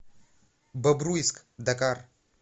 бобруйск дакар